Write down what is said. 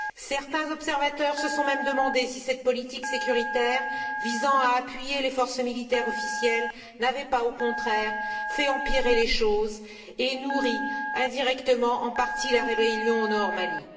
Certains observateurs se sont même demandé si cette politique sécuritaire visant à appuyer les forces militaires officielles n'avait pas, au contraire, fait empirer les choses et nourri, indirectement, en partie, la rébellion dans le nord du pays.